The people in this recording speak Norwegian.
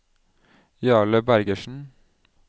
Jarle Bergersen